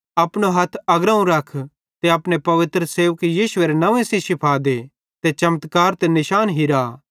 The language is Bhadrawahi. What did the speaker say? अपनो हथ अग्रोवं रख ते अपने पवित्र सेवक यीशुएरे नंव्वे सेइं शिफ़ा दे ते चमत्कार ते निशान हिरा